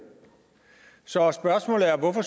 så spørgsmålet er hvorfor